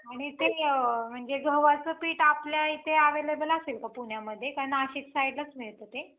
आणि ते म्हणजे गव्हाचं पीठ आपल्या इथे available असेल का पुण्यामध्ये का नाशिक side लाच मिळत ते?